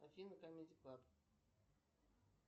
афина камеди клаб